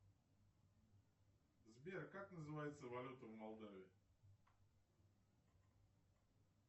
сбер как называется валюта в молдавии